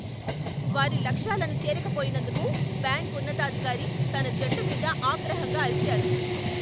వారి లక్ష్యాలను చేరకపోయినందుకు బ్యాంక్ ఉన్నతాధికారి తన జట్టు మీద ఆగ్రహంగా అరిచారు.